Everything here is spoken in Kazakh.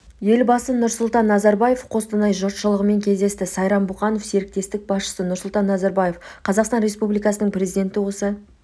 елбасы нұрсұлтан назарбаев қостанай жұртшылығымен кездесті сайран бұқанов серіктестік басшысы нұрсұлтан назарбаев қазақстан республикасының президенті осы